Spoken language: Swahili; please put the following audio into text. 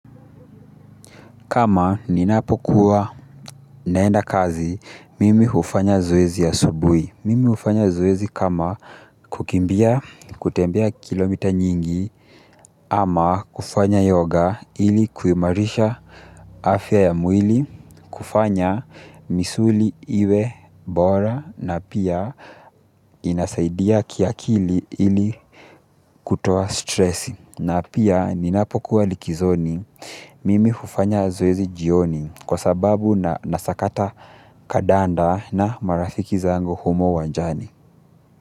Kama ninapokuwa naenda kazi, mimi hufanya zoezi asubuhi. Mimi hufanya zoezi kama kukimbia kutembea kilomita nyingi ama kufanya yoga ili kuimarisha afya ya mwili kufanya misuli iwe bora na pia inasaidia kiakili ili kutoa stresi. Na pia ninapokuwa likizoni mimi hufanya zoezi jioni kwa sababu na sakata kadanda na marafiki zangu humo uwanjani.